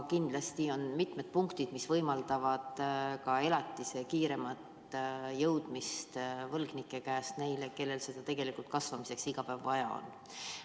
Kindlasti on siin mitmeid punkte, mis võimaldavad ka elatise kiiremat jõudmist võlgnike käest neile, kellel seda tegelikult kasvamiseks iga päev vaja on.